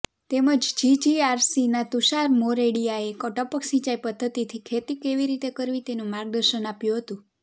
તેમજ જીજીઆરસીના તુષાર મોરડિયાએ ટપક સિંચાઈ પધ્ધતિથી ખેતી કેવી રીતે કરવી તેનું માર્ગદર્શન આપ્યું હતું